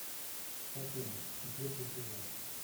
покойник четвертый сезон